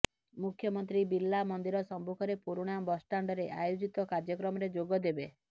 ମୁଖ୍ୟମନ୍ତ୍ରୀ ବିର୍ଲା ମନ୍ଦିର ସମ୍ମୁଖରେ ପୁରୁଣା ବସଷ୍ଟାଣ୍ଡରେ ଆୟୋଜିତ କାର୍ଯ୍ୟକ୍ରମରେ ଯୋଗଦେବେ